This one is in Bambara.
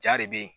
Ja de bɛ yen